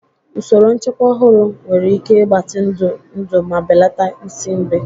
Usoro nchekwa ọhụrụ nwere ike ịgbatị ndụ ndụ ma belata nsị nri.